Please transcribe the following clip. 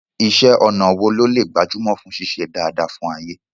Iṣẹ́ ọnà wo ló lè gbajúmọ̀ fún ṣíṣe dáadáa fún Ayé?